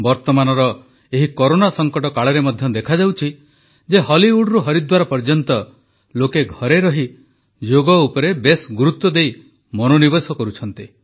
ବର୍ତ୍ତମାନର ଏହି କରୋନା ସଂକଟ କାଳରେ ମଧ୍ୟ ଦେଖାଯାଉଛି ଯେ ହଲିଉଡ଼ରୁ ହରିଦ୍ୱାର ପର୍ଯ୍ୟନ୍ତ ଲୋକେ ଘରେ ରହି ଯୋଗ ଉପରେ ବେଶ୍ ଗୁରୁତ୍ୱ ଦେଇ ମନୋନିବେଶ କରୁଛନ୍ତି